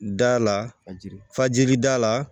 Da lajigin fajiri da la